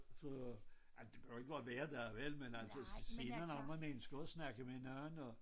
For ej men det behøver ikke at være hver dag vel men altså så senere når man ønsker at snakke med en anden og